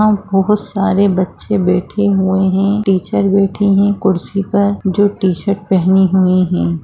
बहुत सारे बच्चे बैठे हुए है टीचर बैठे है कुर्सी पर जो टी-शर्ट पेहनी हुए है।